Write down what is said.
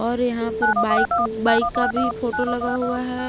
और यहां पर बाइक बाइक का भी फोटो लगा हुआ है।